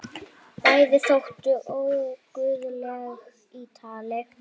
Bæði þóttu óguðleg í tali.